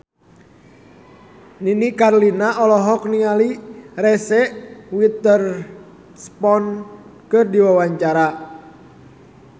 Nini Carlina olohok ningali Reese Witherspoon keur diwawancara